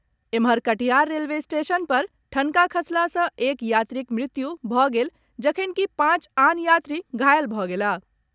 एम्हर, Katihar railway station पर ठनका खसला सॅ एक यात्रीक मृत्यु भऽ गेल जखनकि पांच आन यात्री घायल भऽ गेलाह।